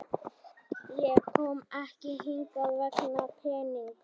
Ég kom ekki hingað vegna peningana.